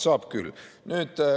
Saab küll.